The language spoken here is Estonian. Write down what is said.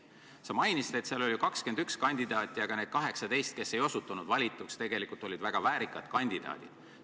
Sa mainisid, et seal oli 21 kandidaati, aga need 18, kes ei osutunud valituks, olid tegelikult väga väärikad kandidaadid.